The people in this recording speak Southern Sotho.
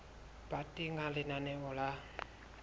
ba teng ha lenaneo la